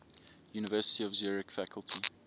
university of zurich faculty